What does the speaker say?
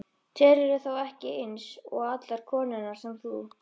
Telurðu þá ekki eins og allar konurnar sem þú?